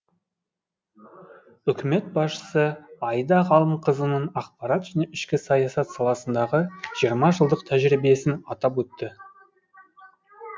үкімет басшысы аида ғалымқызының ақпарат ішкі саясат саласындағы жиырма жылдық тәжірибесін атап өтті